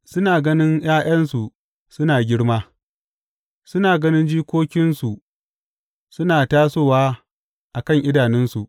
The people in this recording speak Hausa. Suna ganin ’ya’yansu suna girma, suna ganin jikokinsu suna tasowa a kan idanunsu.